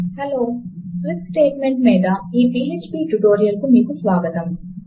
hello switch statement మీద ఈ PHP tutorial కు మీకు స్వాగతము